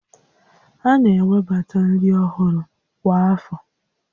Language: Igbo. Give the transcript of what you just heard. A na-ewebata nri ọhụrụ kwa afọ